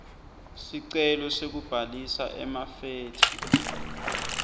sicelo sekubhalisa emafethri